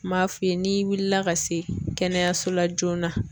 N m'a f'i ye n'i wulila ka se kɛnɛyaso la joona.